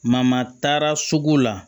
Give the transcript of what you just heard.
taara sugu la